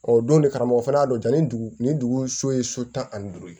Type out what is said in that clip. Ɔ don de karamɔgɔ fana y'a dɔn ja ni dugu ni dugu so ye so tan ani duuru ye